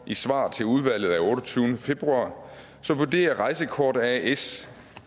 svar til udvalget af otteogtyvende februar vurderer rejsekort as